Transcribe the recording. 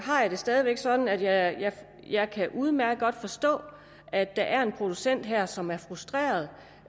har jeg det stadig væk sådan at jeg udmærket godt kan forstå at der er en producent her som er frustreret